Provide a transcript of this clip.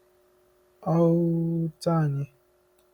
Ọ́ u u u ut`anyị?